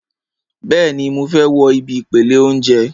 Bẹ́ẹ̀ni, mo fẹ́ wo ibi ìpele óúnjẹ